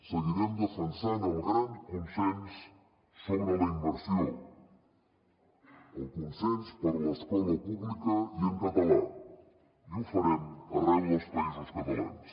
seguirem defensant el gran consens sobre la immersió el consens per l’escola pública i en català i ho farem arreu dels països catalans